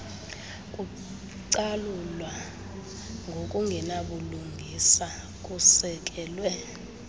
kucalula ngokungenabulungisa kusekelwe